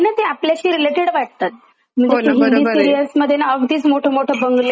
तस हिंदी बरोबरे सीरिअल्स मध्ये ना अगदीच मोठे मोठे बंगले गाड्या हे ते नुसते दाखवतात.